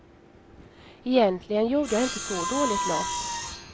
Egentligen gjorde jag inte så dåligt lopp.